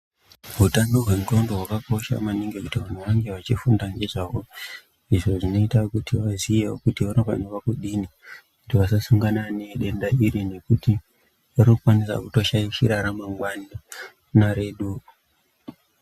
Utano hwendxondo hwakakosha maningi kuti vantu vange vachifunda ngezvaho, izvo zvinoita kuti vaziyewo kuti vanofanira kudini kuti vasasongana nedenda iri nekuti rinokwanisa kutoshaishira ramangani naredu.